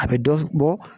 A bɛ dɔ bɔ